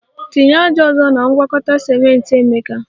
Tinye ájá ọzọ na ngwakọta ciment, emeka